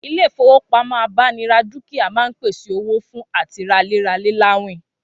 Ilé ìfowópamọ́ abánira dúkìá máa ń pèsè owó fún àti ralé ralè láwìn